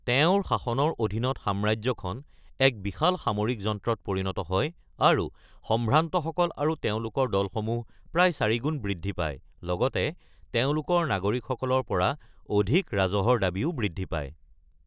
তেওঁৰ শাসনৰ অধীনত সাম্ৰাজ্যখন এক বিশাল সামৰিক যন্ত্ৰত পৰিণত হয় আৰু সম্ভ্ৰান্তসকল আৰু তেওঁলোকৰ দলসমূহ প্ৰায় চাৰিগুণ বৃদ্ধি পায়, লগতে তেওঁলোকৰ নাগৰিকসকলৰ পৰা অধিক ৰাজহৰ দাবীও বৃদ্ধি পায়।